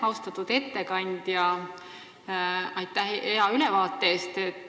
Austatud ettekandja, aitäh hea ülevaate eest!